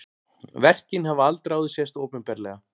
Verkin hafa aldrei áður sést opinberlega